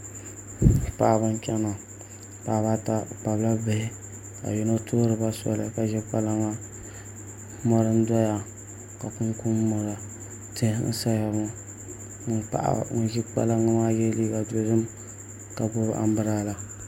Paɣaba n chɛna paɣaba ata bi kpabila bihi ka yino tuhuriba soli ka ʒi kpalaŋa mori n doya ka kunkun doya tihi n saya ŋo paɣa n ʒi kpalaŋ maa yɛ liiga dozik ka gbubi anbirala